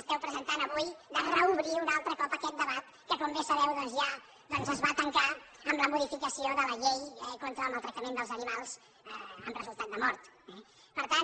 esteu presentant avui de reobrir un altre cop aquest debat que com bé sabeu doncs ja es va tancar amb la modificació de la llei contra el maltractament dels animals amb resultat de mort eh per tant